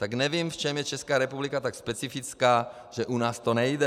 Tak nevím, v čem je Česká republika tak specifická, že u nás to nejde.